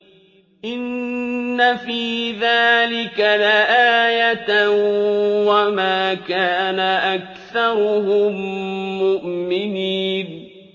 إِنَّ فِي ذَٰلِكَ لَآيَةً ۖ وَمَا كَانَ أَكْثَرُهُم مُّؤْمِنِينَ